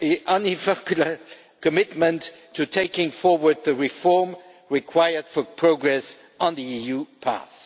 and unequivocal commitment to taking forward the reform required for progress on the EU path.